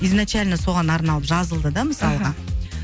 изначально соған арналып жазылды да мысалға